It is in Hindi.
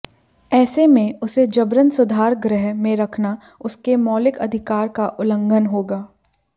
ऐसे में उसे जबरन सुधार गृह में रखना उसके मौलिक अधिकार का उल्लंघन होगा